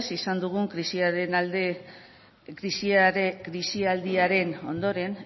izan dugun krisi aldiaren ondoren